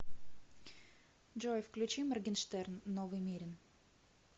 джой включи моргенштерн новый мерин